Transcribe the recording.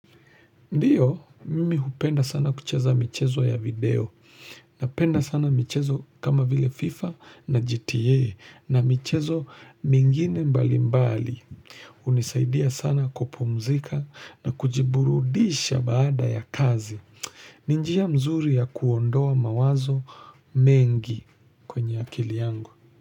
Ndiyo, mimi hupenda sana kucheza michezo ya video, na penda sana michezo kama vile FIFA na GTA, na michezo mingine mbali mbali. Hunisaidia sana kupumzika na kujiburudisha baada ya kazi. Ni njia mzuri ya kuondoa mawazo mengi kwenye akili yangu.